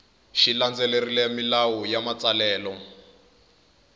xi landzelerile milawu ya matsalelo